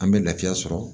An bɛ lafiya sɔrɔ